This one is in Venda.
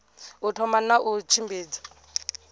u thoma na u tshimbidza